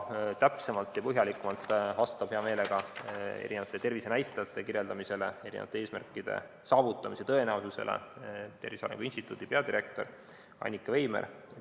Täpsemalt ja põhjalikumalt räägib tervisenäitajate kirjeldamisest ja eesmärkide saavutamise tõenäosusest hea meelega Tervise Arengu Instituudi peadirektor Annika Veimer.